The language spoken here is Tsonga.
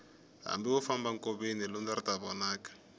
hambi wo famba nkoveni lundza ri ta vonaka